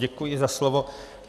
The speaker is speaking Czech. Děkuji za slovo.